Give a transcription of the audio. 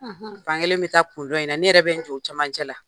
fankelen be taa kun dɔn in na, ne yɛrɛ bɛ n jɔ u camancɛ la.